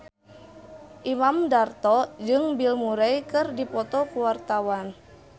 Imam Darto jeung Bill Murray keur dipoto ku wartawan